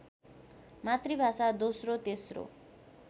मातृभाषा दोस्रो तेश्रो